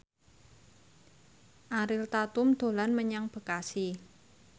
Ariel Tatum dolan menyang Bekasi